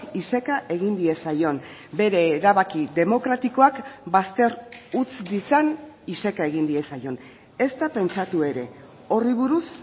iseka egin diezaion bere erabaki demokratikoak bazter utz ditzan iseka egin diezaion ezta pentsatu ere horri buruz